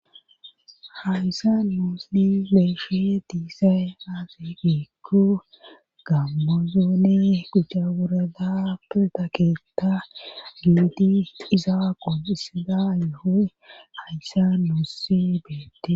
Hayssan nusi besishi dizay aze giko gammo zoone quc'a worada pirda keta gididi qonc'isiza yoho haysan nusi betes.